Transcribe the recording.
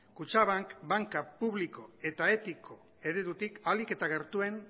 kutxabank banka publiko eta etiko eredutik ahalik eta gertuen